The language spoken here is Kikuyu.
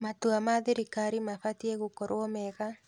Matua ma thirikari mabatiĩ gũkorwo mega.